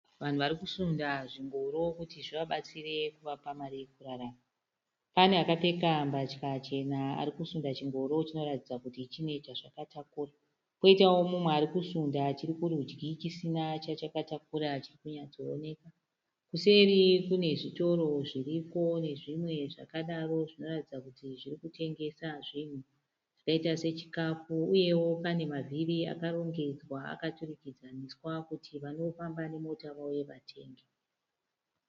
Vanhu vari kusunda zvingoro kuti zvivabetsere kuvapa mari yekururama. Pane akapfeka mbatya chena arikusunda chingoro chinoratidza kuti chine chazvakatakura. Koitawo mumwe arikusunda chiri kurudyi chisina chachakatakura chiri kunyatsooneka. Kuseri kune zvitoro zviriko nezvimwe zvakadaro zvinoratidza kuti zviri kutengesa zvinhu zvakaita sechikafu. Uyewo pane mavhiri akarongedzwa akaturikidzaniswa kuti vanofamba nemota vauye vachitenga.